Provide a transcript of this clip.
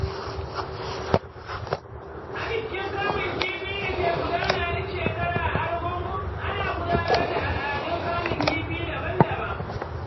A bikin kamun kifi da ke gudana duk shekara a Argungun, ana gudanar da al'adun kamun kifi daban-daban.